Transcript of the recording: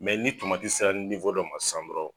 ni tomati sera dɔ ma san dɔrɔ